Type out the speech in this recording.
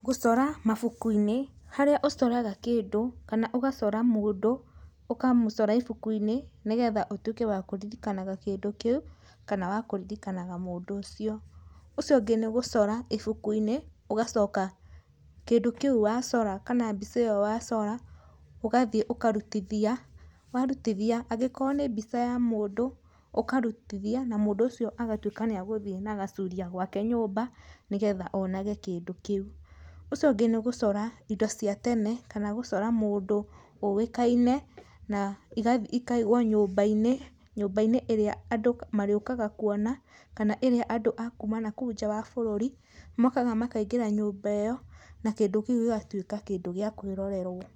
Gũcora mabuku-inĩ, harĩa ũcoraga kĩndũ kana ũgacora mũndũ, ũkamũcora ibuku-inĩ nĩgetha ũtuĩke wakũririkanaga kĩndũ kĩu kana wa kũririkanaga mũndũ ũcio. Ũcio ũngĩ nĩ gũcora ibuku-inĩ, ũgacoka kĩndũ kĩu wacora kana mbica ĩyo wacora, ũgathiĩ ũkarutithia, warutithia agĩkorwo nĩ mbica ya mũndũ, ũkarutithia na mũndũ ũcio agatuĩka nĩ agũthiĩ nagacuria gwake nyũmba nĩgetha onage kĩndũ kĩu. Ũcio ũngĩ nĩ gũcora indo cia tene kana gũcora mũndũ ũĩkaine, na ĩgathiĩ ĩkaigwo nyũmba-inĩ, nyũmba-inĩ ĩrĩa andũ marĩũkaga kũona, kana ĩrĩa andũ a kuuma nakũu nja wa bũrũri, mokaga makaingĩra nyũmba ĩyo, na kĩndũ kĩu gĩgatuĩka kĩndũ gĩa kwĩrorerwo.